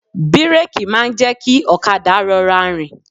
Bíréèkì máa ń jẹ́ kí ọ̀kadà rọra rìn.